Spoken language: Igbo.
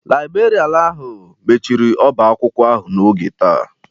Laibrerịanu ahụ mechiri ọba akwụkwọ ahụ n'oge taa.